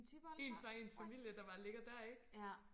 en fra ens familie der bare ligger der ik